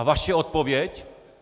A vaše odpověď?